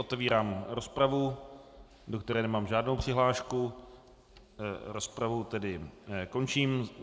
Otevírám rozpravu, do které nemám žádnou přihlášku, rozpravu tedy končím.